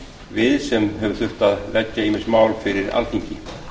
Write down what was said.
við sem hefur þurft að leggja ýmis mál fyrir alþingi